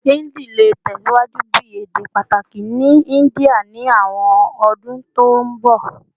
Hindi le tẹsiwaju bi ede pataki ni India ni awọn ọdun to nbọ